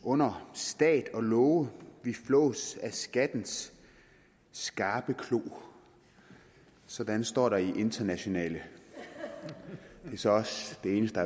under stat og love vi flås af skattens skarpe klo sådan står der i internationale det er så også det eneste